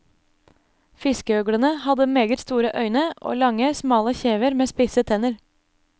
Fiskeøglene hadde meget store øyne og lange, smale kjever med spisse tenner.